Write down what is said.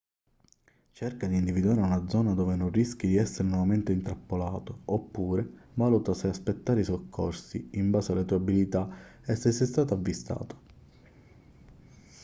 cerca di individuare una zona dove non rischi di essere nuovamente intrappolato oppure valuta se aspettare i soccorsi in base alle tue abilità e se sei stato avvistato